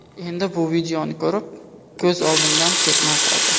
Endi bu videoni ko‘rib, ko‘z oldimdan ketmay qoldi.